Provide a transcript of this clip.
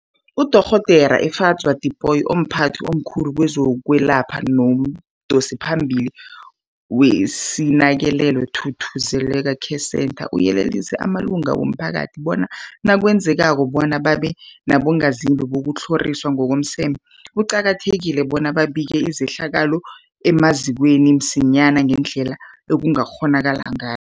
UDorh Efadzwa Tipoy, omphathi omkhulu kezokwelapha nomdosiphambili weSinakekelwe Thuthuzela Care Centre, uyelelise amalunga womphakathi bona nakwenzekako bona babe bongazimbi bokutlhoriswa ngokomseme, kuqakathekile bona babike izehlakalo emazikweni msinyana ngendlela ekungakghonakala ngay